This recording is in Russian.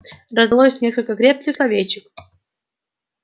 раздалось несколько крепких словечек